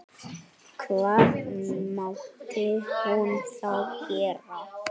Hvað mátti hún þá gera?